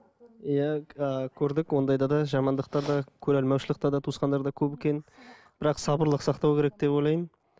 иә көрдік ондайды да жамандықта да көреалмаушылықта да туысқандарда көп екен бірақ сабырлық сақтау керек деп ойлаймын